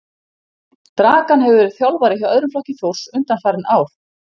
Dragan hefur verið þjálfari hjá öðrum flokki Þórs undanfarin ár.